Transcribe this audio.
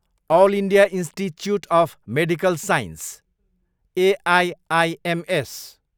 all India institute of medical science, AIIMS